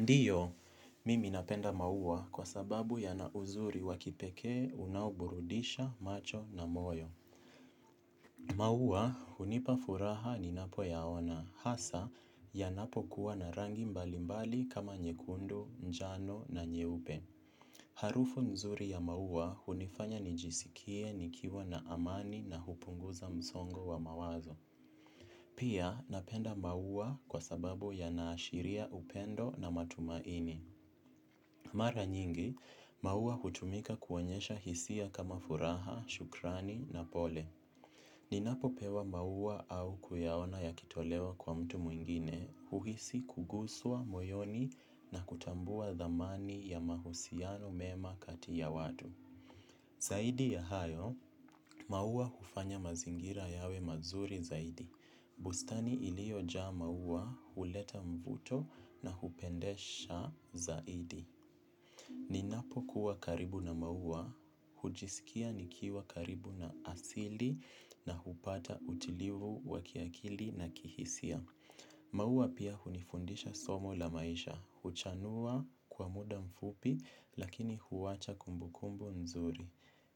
Ndiyo, mimi napenda maua kwa sababu yanauzuri wa kipekee unao burudisha macho na moyo. Maua hunipafuraha ninapo yaona hasa yanapo kuwa na rangi mbali mbali kama nyekundu, njano na nyeupe. Harufu nzuri ya maua hunifanya nijisikie nikiwa na amani na hupunguza msongo wa mawazo. Pia napenda maua kwa sababu yanaashiria upendo na matumaini. Mara nyingi, maua hutumika kuonyesha hisia kama furaha, shukrani na pole. Ninapo pewa maua au kuyaona yakitolewa kwa mtu mwingine, uhisi kuguswa, moyoni na kutambua dhamani ya mahusiano mema kati ya watu. Zaidi ya hayo, maua hufanya mazingira yawe mazuri zaidi. Bustani iliojaa maua huleta mvuto na hupendesha zaidi. Ninapo kuwa karibu na maua, hujisikia nikiwa karibu na asili na hupata utilivu wa kiakili na kihisia. Maua pia hunifundisha somo la maisha, huchanua kwa muda mfupi lakini huwacha kumbukumbu nzuri.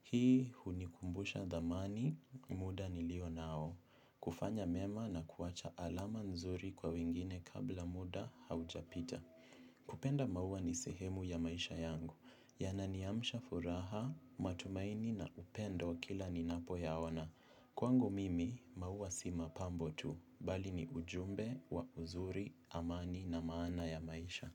Hii hunikumbusha dhamani muda nilio nao, kufanya mema na kuwacha alama nzuri kwa wengine kabla muda haujapita. Kupenda maua ni sehemu ya maisha yangu, yananiamsha furaha, matumaini na upendo kila ninapo yaona. Kwangu mimi, maua si mapambo tu, bali ni ujumbe, wa uzuri, amani na maana ya maisha.